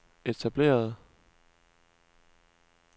etablerede